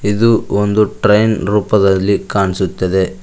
ಇದು ಒಂದು ಟ್ರೈನ್ ರೂಪದಲ್ಲಿ ಕಾಣಿಸುತ್ತದೆ.